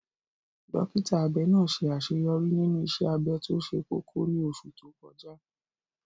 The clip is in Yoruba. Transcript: Dókítà abẹ náà ṣe àṣeyọrí nínú iṣẹ́ abẹ tó ṣe kókó ní oṣù tó kọjá.